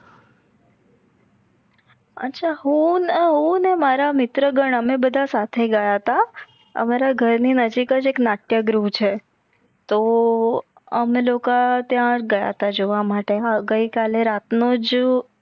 અચ્છા હું ને હું ને મારા મિત્રગણ અમે બધા સાથે ગયા તા અમારી ઘર ની નજીક એક નટક્યગૃહ છે. તો અમે લોકા ત્યાં ગયા હતા જોવા માટે ગઇકાલે રાતનોજ